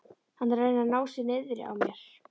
Hann er að reyna að ná sér niðri á mér.